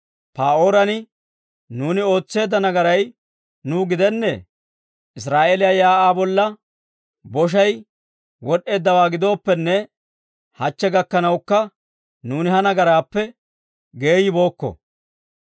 Pa'ooran nuuni ootseedda nagaray nuw gidennee? Israa'eeliyaa shiik'uwaa bolla boshay wod'd'eeddawaa giddooppene, hachche gakkanawukka nuuni he nagaraappe geeyibookko.